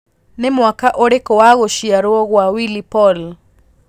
nĩ mwaka ũrĩkũ wa gũcĩarwo gwa willy Paul